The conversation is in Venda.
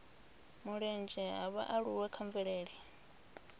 mulenzhe ha vhaaluwa kha mvelele